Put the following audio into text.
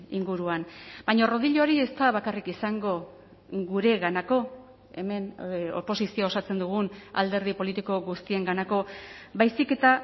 inguruan baina rodillo hori ez da bakarrik izango gureganako hemen oposizioa osatzen dugun alderdi politiko guztienganako baizik eta